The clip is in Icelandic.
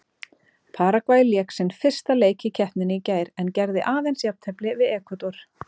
Paragvæ lék sinn fyrsta leik í keppninni í gær en gerði aðeins jafntefli við Ekvador.